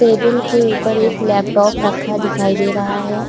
Table के ऊपर एक लपटप रखा दिखाई दे रहा है।